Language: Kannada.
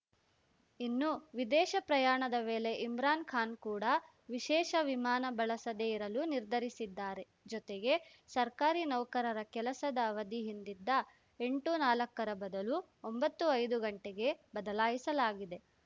ಇನ್ನು ವಿದೇಶ ಪ್ರಯಾಣದ ವೇಳೆ ಇಮ್ರಾನ್‌ ಖಾನ್‌ ಕೂಡಾ ವಿಶೇಷ ವಿಮಾನ ಬಳಸದೇ ಇರಲು ನಿರ್ಧರಿಸಿದ್ದಾರೆ ಜೊತೆಗೆ ಸರ್ಕಾರಿ ನೌಕರರ ಕೆಲಸದ ಅವಧಿ ಹಿಂದಿದ್ದ ಎಂಟುನಾಲ್ಕರ ಬದಲು ಒಂಬತ್ತುಐದು ಗಂಟೆಗೆ ಬದಲಾಯಿಸಲಾಗಿದೆ